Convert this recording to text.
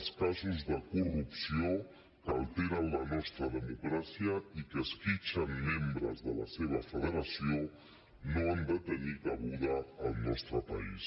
els casos de corrupció que alteren la nostra democràcia i que esquitxen membres de la seva federació no han de tenir cabuda al nostre país